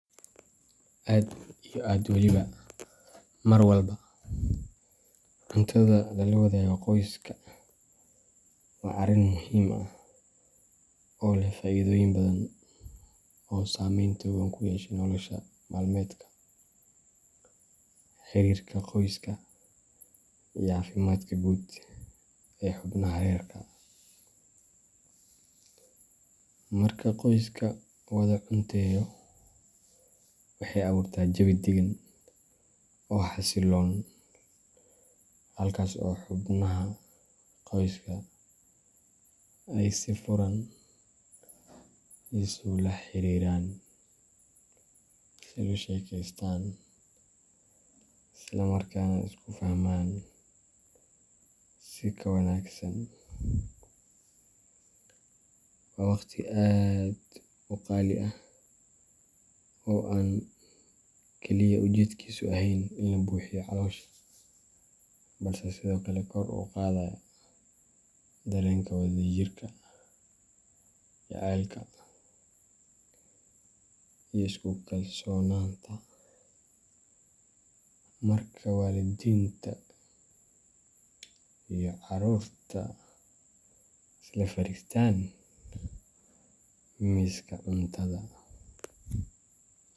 Aad iyo aad waliba marwalba, cuntada lala wadaago qoyska waa arrin muhiim ah oo leh faa’iidooyin badan oo saameyn togan ku yeesha nolol maalmeedka, xiriirka qoyska, iyo caafimaadka guud ee xubnaha reerka. Marka qoyska wada cunteeyo, waxay abuurtaa jawi daggan oo xasilloon, halkaas oo xubnaha qoyska ay si furan isula xiriiraan, isula sheekeystaan, isla markaana isku fahmaan si ka wanaagsan. Waa waqti aad u qaali ah oo aan kaliya ujeedkiisu ahayn in la buuxiyo caloosha, balse sidoo kale kor u qaadaya dareenka wadajirka, jacaylka, iyo isku kalsoonaanta. Marka waalidiinta iyo carruurtu isla fariistaan miiska cuntada.